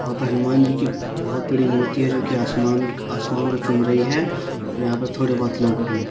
वहां पे हनुमान जी की बोहोत बड़ी मूर्ति है जो कि आसमान क् आसमान को चूम रही है और यहां पर थोड़े बहोत लोग भी हैं।